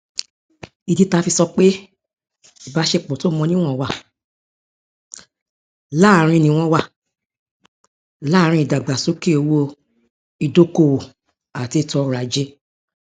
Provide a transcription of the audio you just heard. ìdí tí a fi sọ pé ìbáṣepọ tó mọ níwọn wà láàrin níwọn wà láàrin ìdàgbàsókè owó ìdókòówò àti ètòọrọajé